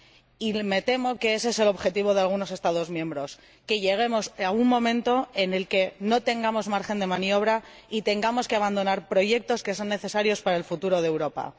Y me temo que ese es el objetivo de algunos Estados miembros que lleguemos a un momento en el que no tengamos margen de maniobra y tengamos que abandonar proyectos que son necesarios para el futuro de Europa.